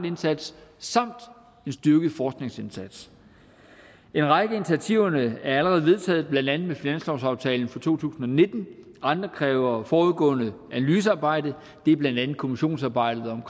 indsatser samt en styrket forskningsindsats en række af initiativerne er allerede vedtaget blandt andet med finanslovsaftalen for to tusind og nitten andre kræver et forudgående analysearbejde det er blandt andet kommissionsarbejdet om